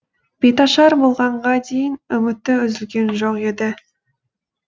бетаршар болғанға дейін үміті үзілген жоқ еді